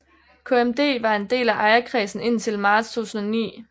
KMD var en del af ejerkredsen indtil marts 2009